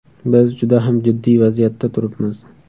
Biz juda ham jiddiy vaziyatda turibmiz.